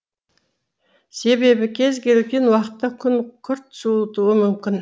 себебі кез келген уақытта күн күрт суытуы мүмкін